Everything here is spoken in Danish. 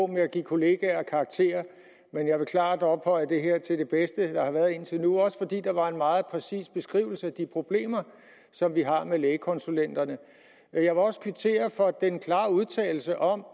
med at give kollegaer karakterer men jeg vil klart ophøje det her til det bedste der har været indtil nu også fordi der var en meget præcis beskrivelse af de problemer som vi har med lægekonsulenterne jeg vil også kvittere for den klare udtalelse om